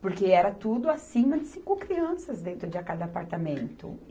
Porque era tudo acima de cinco crianças dentro de cada apartamento.